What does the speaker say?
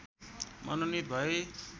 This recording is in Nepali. मनोनीत भए